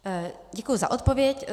Děkuji za odpověď.